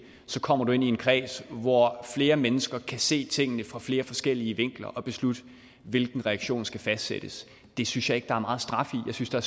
kommer du ind i en kreds hvor flere mennesker kan se på tingene fra flere forskellige vinkler og beslutte hvilken reaktion der skal fastsættes det synes jeg ikke der er meget straf i jeg synes der